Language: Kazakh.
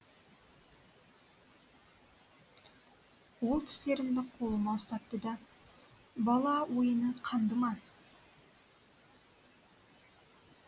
ол тістерімді қолыма ұстатты да бала ойыны қанды ма